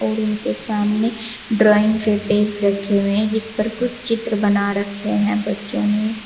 Room के सामने drawing के पेज रखे हुए हैं जिस पर कुछ चित्र बना रखे हैं बच्चों ने।